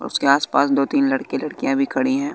उसके आस पास दो तीन लड़के लड़किया भी खड़ी है।